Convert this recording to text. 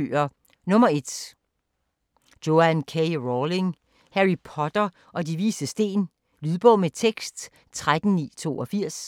1. Rowling, Joanne K.: Harry Potter og De Vises Sten Lydbog med tekst 13982